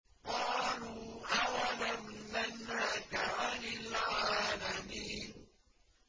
قَالُوا أَوَلَمْ نَنْهَكَ عَنِ الْعَالَمِينَ